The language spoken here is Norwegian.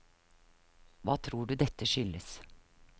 Hva tror du dette skyldes?